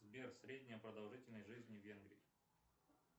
сбер средняя продолжительность жизни в венгрии